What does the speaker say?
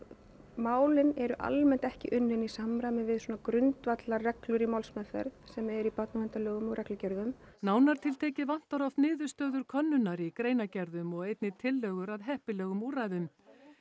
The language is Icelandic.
málin eru almennt ekki unnin í samræmi við svona grundvallarreglur í málsmeðferð sem eru í barnaverndarlögum og reglugerðum nánar tiltekið vantar oft niðurstöður könnunar í greinargerðum og einnig tillögur að heppilegum úrræðum